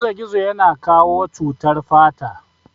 Gizogizo ya na kawo cutar fata